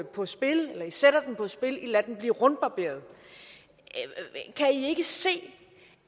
på spil i lader den blive rundbarberet kan i ikke se